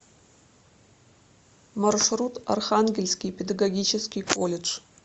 маршрут архангельский педагогический колледж